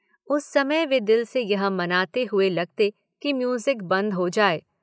उस समय वे दिल से यह मनाते हुए लगते कि म्यूजिक बंद हो जाये।